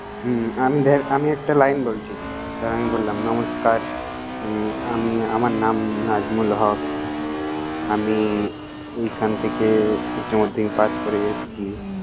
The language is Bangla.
হমম, আমি ধের আমি একটা line বলছি। ধর, আমি বললাম নমস্কার! উম আমি আমার নাম নাজিমুল হক। আমি এইখান থেকে উচ্চ মাধ্যমিক পাস করে এসছি।